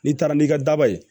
N'i taara n'i ka daba ye